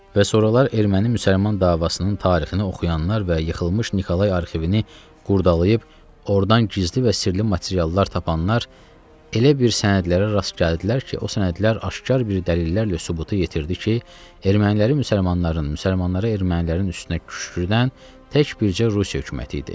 Və soralar erməni-müsəlman davasının tarixini oxuyanlar və yıxılmış Nikolay arxivini qurdalayıb oradan gizli və sirrli materiallar tapanlar elə bir sənədlərə rast gəldilər ki, o sənədlər aşkar bir dəlillərlə sübuta yetirdi ki, erməniləri müsəlmanların, müsəlmanları ermənilərin üstünə küşkürdən tək bircə Rusiya hökuməti idi.